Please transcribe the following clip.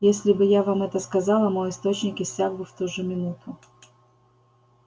если бы я вам это сказала мой источник иссяк бы в ту же минуту